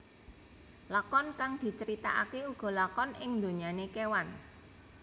Lakon kang diceritakake uga lakon ing donyane kewan